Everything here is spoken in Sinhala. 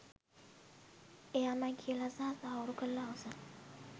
එයාමයි කියල සහ තහවුරු කරලා අවසන්.